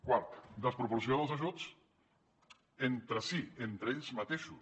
quart desproporció dels ajuts entre si entre ells mateixos